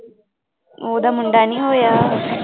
ਉਹਦਾ ਮੁੰਡਾ ਨੀ ਹੋਇਆ